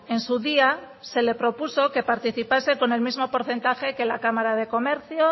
en su día se le propuso que participase con el mismo porcentaje que la cámara de comercio